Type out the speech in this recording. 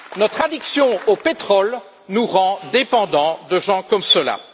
Notre addiction au pétrole nous rend dépendants de gens comme cela.